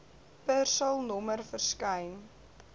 persal nommer verskyn